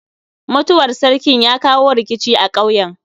Mutuwar sarkin ya kawo rikici a ƙauyen.